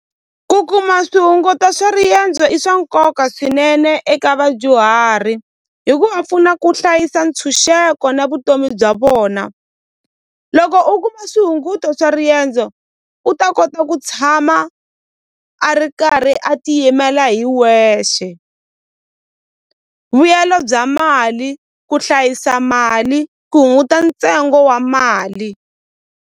Ku kuma swihunguto swa riendzo i swa nkoka swinene eka vadyuhari hi ku va pfuna ku hlayisa ntshunxeko na vutomi bya vona loko u kuma swihunguto swa riendzo u ta kota ku tshama a ri karhi a tiyimela hi wexe vuyelo bya mali ku hlayisa mali ku hunguta ntsengo wa mali.